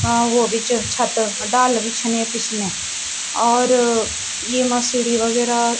हा वो भी च छत अर डाला भी छन यख पिछने और येमा सीड़ी वगेरा।